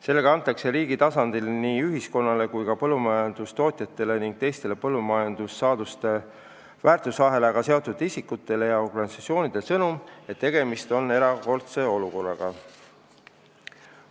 Sellega antakse riigi tasandil nii ühiskonnale kui ka põllumajandustootjatele ning teistele põllumajandussaaduste väärtusahelaga seotud isikutele ja organisatsioonidele sõnum, et tegemist on erakordse olukorraga.